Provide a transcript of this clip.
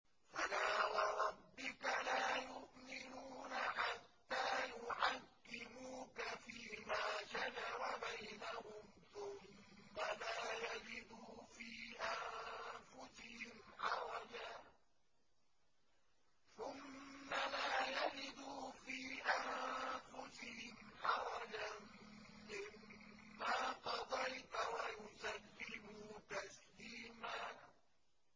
فَلَا وَرَبِّكَ لَا يُؤْمِنُونَ حَتَّىٰ يُحَكِّمُوكَ فِيمَا شَجَرَ بَيْنَهُمْ ثُمَّ لَا يَجِدُوا فِي أَنفُسِهِمْ حَرَجًا مِّمَّا قَضَيْتَ وَيُسَلِّمُوا تَسْلِيمًا